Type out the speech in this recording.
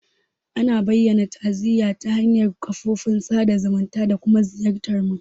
Ana bayyana ta'aziyya ta hanyar kafofin sada zumunta da kuma ziyartar mutum.